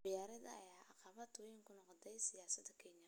Qabyaaladda ayaa caqabad weyn ku noqotay siyaasadda Kenya.